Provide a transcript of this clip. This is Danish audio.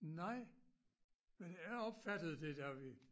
Nej men jeg opfattede det da vi